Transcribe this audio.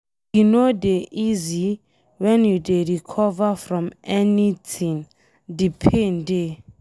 E no dey easy wen you dey recover from anything, de pain dey.